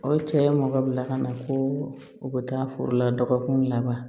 O ye cɛ ye mɔgɔ bila ka na ko u ka taa foro la dɔgɔkun laban